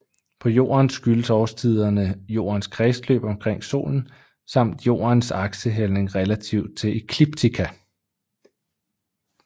På Jorden skyldes årstiderne Jordens kredsløb omkring Solen samt Jordens aksehældning relativt til ekliptika